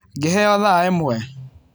Ngĩheo thaa ĩmwe.